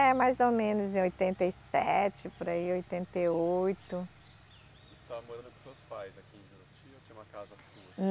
É, mais ou menos em oitenta e sete, por aí em oitenta e oito. Você estava morando com seus pais aqui em Juruti ou tinha uma casa sua?